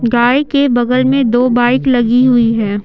गाय के बगल में दो बाइक लगी हुई है।